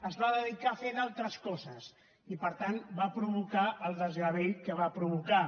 es va dedicar a fer d’altres coses i per tant va provocar el desgavell que va provocar